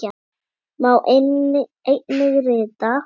Má einnig rita